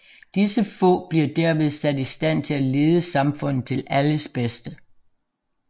Disse få bliver derved sat i stand til at lede samfundet til alles bedste